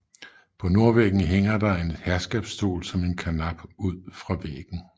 På nordvæggen hænger der en herskabsstol som en karnap ud fra væggen